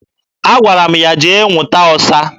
Agwara m ya jee nwụta ọsa